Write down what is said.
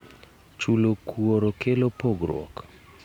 Chulo kuor kelo pogruok.